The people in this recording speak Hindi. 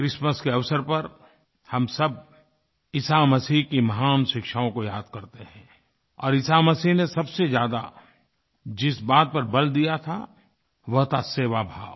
क्रिसमस के अवसर पर हम सब ईसा मसीह की महान शिक्षाओं को याद करते हैं और ईसा मसीह ने सबसे ज़्यादा जिस बात पर बल दिया था वह था सेवाभाव